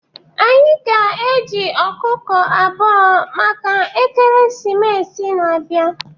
Anyị ga-eji ọkụkọ abụọ maka ekeresimesi na-abịa